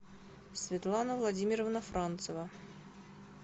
светлана владимировна францева